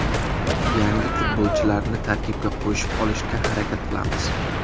Yangi futbolchilarni tarkibga qo‘shib olishga harakat qilamiz.